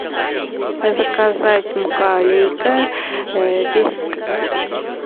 заказать мука алейка десять кг